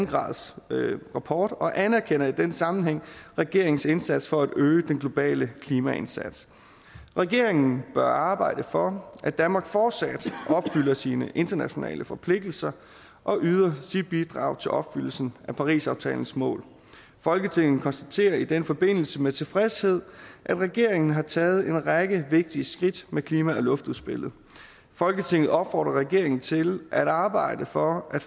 graders rapport og anerkender i den sammenhæng regeringens indsats for at øge den globale klimaindsats regeringen bør arbejde for at danmark fortsat opfylder sine internationale forpligtelser og yder sit bidrag til opfyldelsen af parisaftalens mål folketinget konstaterer i den forbindelse med tilfredshed at regeringen har taget en række vigtige skridt med klima og luftudspillet folketinget opfordrer regeringen til at arbejde for at